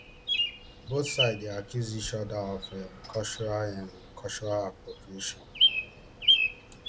both side dey accuse each oda of um cultural um cultural appropriation